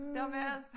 Der mad